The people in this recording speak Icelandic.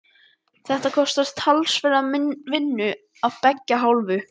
Þetta kostar talsverða vinnu af beggja hálfu.